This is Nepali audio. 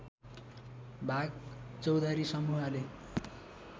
भाग चौधरी समूहले